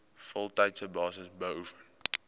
voltydse basis beoefen